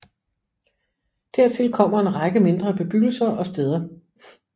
Dertil kommer en række mindre bebyggelser og steder